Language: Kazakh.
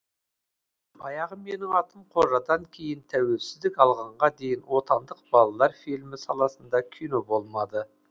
баяғы менің атым қожадан кейін тәуелсіздік алғанға дейін отандық балалар фильмі саласында кино болмады